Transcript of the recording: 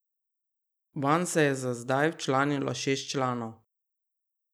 Vanj se je za zdaj včlanilo šest članov.